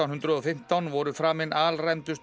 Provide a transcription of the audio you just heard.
hundruð og fimmtán voru framin